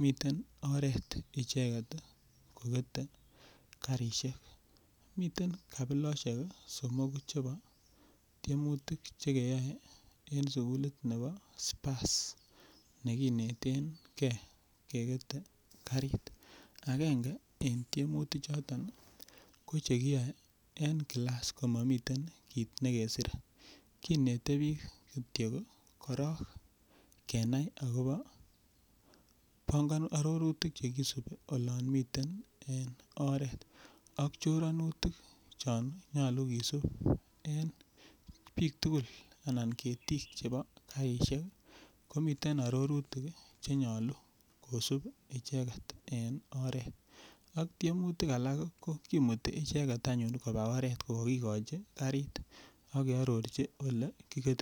miten oret icheget kokete karishek miten kabiloshek somoku chebo tiemutik chekeyoi eng' sukulit nebo Spurs nekineten gei kekete karit agenge en tiemutichoton ko chekiyoe en kilas komamiten kiit nekiseren kinete biik kityo korok kenai akobo arorutik chekisubi olon miten en oret ak choranutik chon nyolu kesup en biik tukuk anan ketik chebo karishek komiten arorutik chenyolu kosup icheget en oret ak tiemutik alak ko kimuti icheget anyun koba oret ko kakikochin karit akearorchi ole kiketitoi